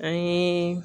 An ye